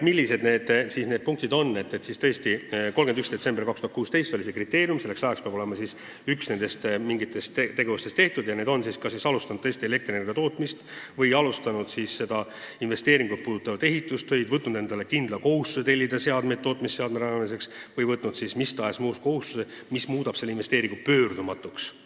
Nii et tõesti, 31. detsember 2016 oli see tärmin, mis ajaks pidi olema tehtud üks nendest tegevustest: kas alustatud elektrienergia tootmist või alustatud sellekohast investeeringut puudutavaid ehitustöid, võetud kindel kohustus tellida seadmeid tootmise alustamiseks või võetud mis tahes muu kohustus, mis muudab sellise investeeringu pöördumatuks.